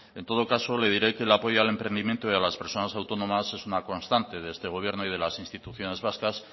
en todo caso le diré que el apoyo al emprendimiento y a las personas autónomas es una constante de este gobierno y de las instituciones vascas